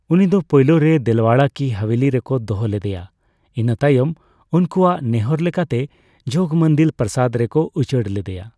ᱩᱱᱤᱫᱚ ᱯᱳᱭᱞᱳ ᱨᱮ ᱫᱮᱞᱣᱟᱲᱟ ᱠᱤ ᱦᱟᱵᱮᱞᱤ ᱨᱮᱠᱚ ᱫᱚᱦᱚ ᱞᱮᱫᱮᱭᱟ ᱤᱱᱟᱹ ᱛᱟᱭᱚᱢ ᱩᱱᱠᱩᱠᱚᱣᱟᱜ ᱱᱮᱦᱚᱸᱨ ᱞᱮᱠᱟᱛᱮ ᱡᱚᱜᱽᱢᱚᱱᱫᱤᱞ ᱯᱨᱟᱥᱟᱫᱽ ᱨᱮᱠᱚ ᱩᱪᱟᱹᱲ ᱞᱮᱫᱮᱭᱟ ᱾